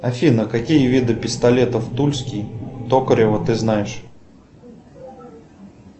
афина какие виды пистолетов тульский токарева ты знаешь